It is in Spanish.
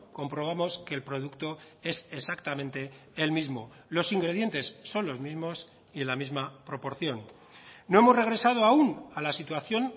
comprobamos que el producto es exactamente el mismo los ingredientes son los mismos y en la misma proporción no hemos regresado aún a la situación